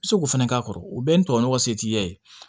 I bɛ se k'o fɛnɛ k'a kɔrɔ o bɛɛ ye ntomɔgɔn se t'i ye